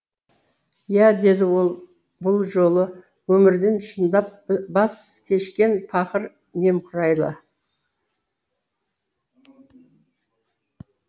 иә деді бұл жолы өмірден шындап баз кешкен пақыр немқұрайлы